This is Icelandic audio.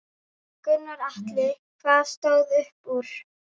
Gunnar Atli: Hvað stóð upp úr?